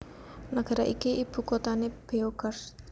Nagara iki ibukuthané Beograd